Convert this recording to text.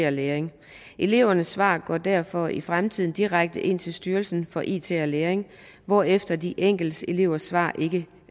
og læring elevernes svar går derfor i fremtiden direkte ind til styrelsen for it og læring hvorefter de enkelte elevers svar